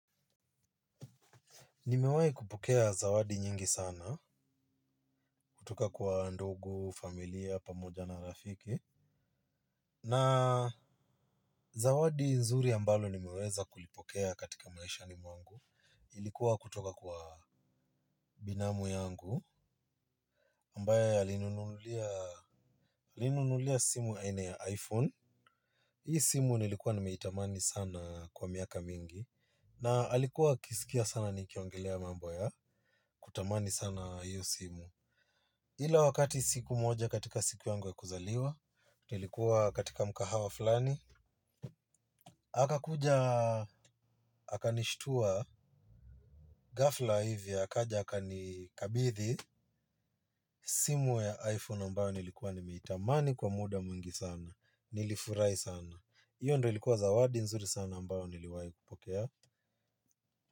Nimewai kupokea zawadi nyingi sana, kutoka kwa ndugu, familia, pamoja na rafiki. Na zawadi nzuri ambalo nimeweza kulipokea katika maishani mwangu. Ilikuwa kutoka kwa binamu yangu ambaye alinunulia simu aina ya iphone hii simu nilikuwa nimeitamani sana kwa miaka mingi. Na alikuwa akisikia sana nikiongelea mambo ya, kutamani sana hii simu. Ila wakati siku moja katika siku yangu ya kuzaliwa, nilikuwa katika mkahawa fulani, akakuja, akanishtua, ghafla hivya, akaja akanikabidhi, simu ya iPhone ambayo nilikuwa nimeitamani kwa muda mwingi sana, nilifurahi sana, iyo ndo ilikuwa zawadi nzuri sana ambayo niliwayo kupokea.